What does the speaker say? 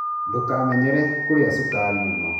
Ndũkamenyere kũrĩa cukari mũno.